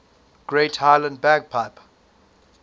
great highland bagpipe